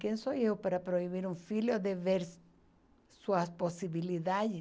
Quem sou eu para proibir um filho de ver suas possibilidades?